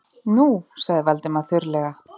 Nú- sagði Valdimar þurrlega.